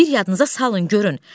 Bir yadınıza salın görün.